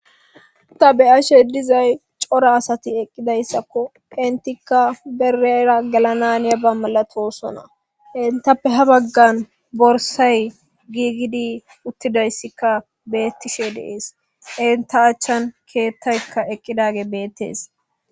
Ta beyashe dizay cora asati eqqidayssakko intikka berera gelananiya ba malatosona intappe ha baggan borsay giigidi uttidayssikka beettishe dees inta achchan keettaykka eqqidage beettees